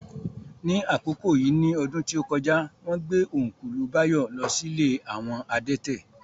Ní àkókò yìí ní ọdún tí ó kọjá, wón gbé Ọ́nkùlù Báyọ̀ lọ sí ilé àwọn adẹ́tẹ̀